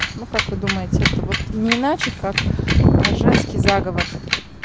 ну как вы думаете это вот не иначе как женский заговор